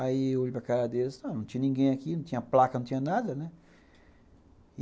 Aí eu olhei para a cara deles, não tinha ninguém aqui, não tinha placa, não tinha nada, né?